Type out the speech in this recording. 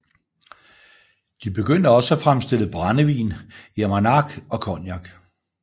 De begyndte også at fremstille brændevin i Armagnac og Cognac